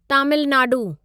Tamil Nadu